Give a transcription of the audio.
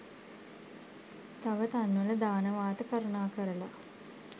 තව තන්වල දානවාත කරුණාකරලා